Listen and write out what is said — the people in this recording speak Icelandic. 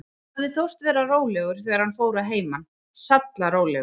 Hann hafði þóst vera rólegur, þegar hann fór að heiman, sallarólegur.